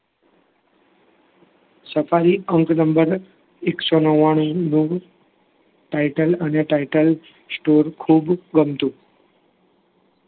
Safari અંક number એકસો નવ્વાણુંમું title અને title store ખુબ ગમતું